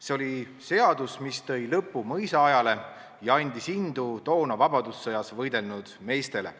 See oli seadus, mis tõi lõpu mõisaajale ja andis indu toona vabadussõjas võidelnud meestele.